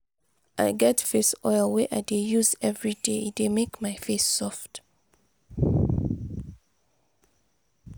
i get face oil wey i dey use everyday e dey make my face soft.